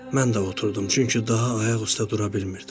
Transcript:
Mən də oturdum, çünki daha ayaq üstə dura bilmirdim.